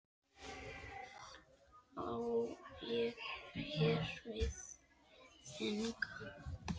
Á ég hér við þing.